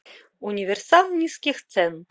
универсам низких цен